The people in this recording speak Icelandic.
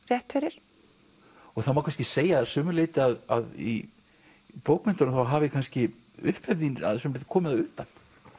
rétt fyrir það má kannski segja að sumu leyti að í bókmenntunum þá hafi kannski upphefð þín að sumu leyti komið að utan